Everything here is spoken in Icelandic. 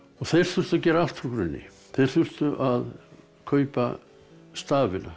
þeir þurftu að gera allt frá grunni þeir þurftu að kaupa stafina